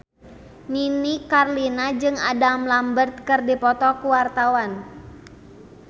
Nini Carlina jeung Adam Lambert keur dipoto ku wartawan